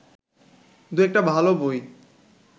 দুয়েকটা ভালো বই